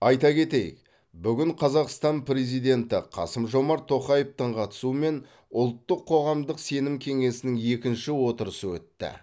айта кетейік бүгін қазақстан президенті қасым жомарт тоқаевтың қатысуымен ұлттық қоғамдық сенім кеңесінің екінші отырысы өтті